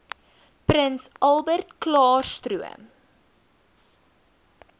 prins albertklaarstroom